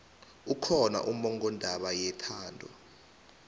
kukhona ummongondaba yethando